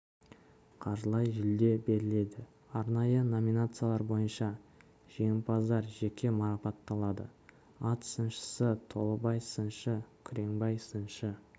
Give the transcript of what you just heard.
қаржылай жүлде беріледі арнайы номинациялар бойынша жеңімпаздар жеке марапатталады ат сыншысы толыбай сыншы күреңбай сыншы